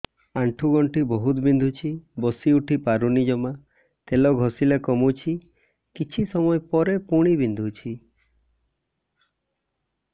ଆଣ୍ଠୁଗଣ୍ଠି ବହୁତ ବିନ୍ଧୁଛି ବସିଉଠି ପାରୁନି ଜମା ତେଲ ଘଷିଲେ କମୁଛି କିଛି ସମୟ ପରେ ପୁଣି ବିନ୍ଧୁଛି